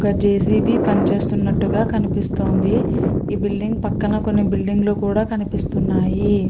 ఒక జెసిపి పనిచేస్తున్నట్టుగా కనిపిస్తోంది. ఈ బిల్డింగ్ పక్కన కొన్ని బిల్డింగ్ లు కూడా కనిపిస్తున్నాయి.